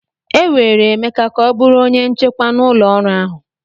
E were Emeka ka ọ bụrụ onye nchekwa na ụlọọrụ ahụ.